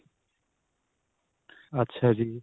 ਅੱਛਾ ਜੀ.